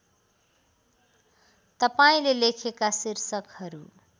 तपाईँले लेखेका शीर्षकहरू